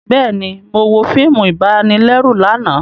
Bẹẹni, Mo wo fíìmù ibanilẹru lànà